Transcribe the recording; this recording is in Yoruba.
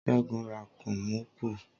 Ségun ra kóómubù